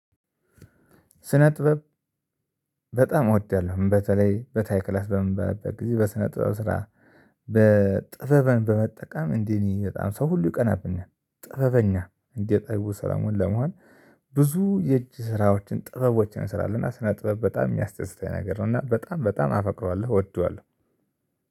ስነ ጥበብ በጣም እወዳለሁ በተለይ በታይ ክላስ በምመርበት ጊዜ በስነ ጥበብ ስራ። በጥበበን በመጠቀም እንደነ በጣም ሰው ሁሉ ይቀናብኛል ጥበበኛ እንደ ጠቢቡ ሰላሞን ለመሆን። ብዙ የእጅ ስራዎችን ጥበቦችን እስራለው እና ስነጥበው በጣም የሚያደስተኝ ነገር ነው እና በጣም በጣም አፈቅረዋለሁ እወደዋለሁ።